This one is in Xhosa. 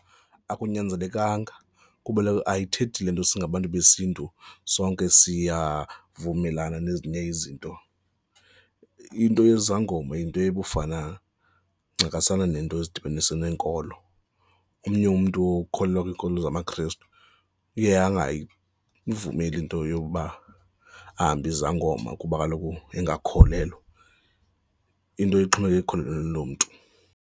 Akunyanzelekanga kuba kaloku ayithethi le nto singabantu besiNtu sonke siyavumelana nezinye izinto. Into yezangoma yinto ekufana ncakasana nento ezidibanise neenkolo. Omnye umntu ukholelwa kwiinkolelo zamaKristu iye angayivumeli into yokuba ahambe izangoma kuba kaloku engakholelwa, into ixhomekeke ekukholelweni lo mntu.